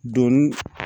Donni